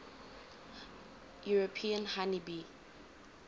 european honey bee